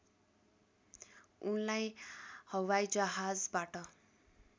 उनलाई हवाइजहाजबाट